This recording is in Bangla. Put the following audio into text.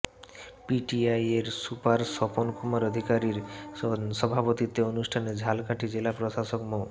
পিটিআই এর সুপার স্বপন কুমার অধিকারীর সভাপতিত্বে অনুষ্ঠানে ঝালকাঠি জেলা প্রশাসক মো